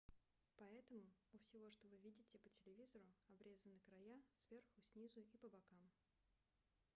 поэтому у всего что вы видите по телевизору обрезаны края сверху снизу и по бокам